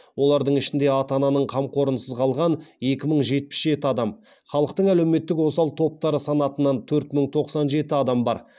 олардың ішінде ата ананың қамқорлығынсыз қалған екі мың жетпіс жеті адам халықтың әлеуметтік осал топтары санатынан төрт мың тоқсан жеті адам бар